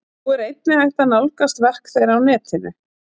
Nú er einnig hægt að nálgast verk þeirra á netinu.